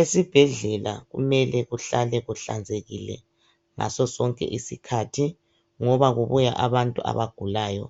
Esibhedlela kumele kuhlale kuhlanzekile ngaso sonke isikhathi ngoba kubuya abantu abagulayo